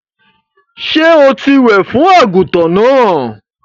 Sọ tí wẹ̀ fún àgùntàn náà?